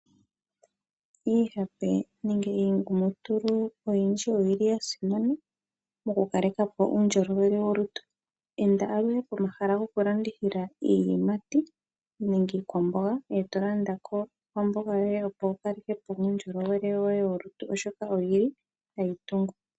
Iihape nenge iingumutulu oyindji oyi li ya simana mokukaleka po uundjolowe wolutu. Enda aluhe pomahala gokulandithila iiyimati nenge iikwamboga e to landa po iikwamboga yoye, opo wu kaleke po uundjolowele woye wolutu, oshoka oyi li hayi tungu.